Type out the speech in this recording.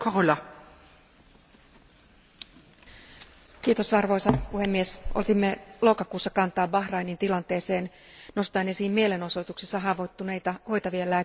Arvoisa puhemies, otimme lokakuussa kantaa Bahrainin tilanteeseen nostaen esiin mielenosoituksissa haavoittuneita hoitavien lääkäreiden ja sairaanhoitajien pidätykset ja vangitsemisen.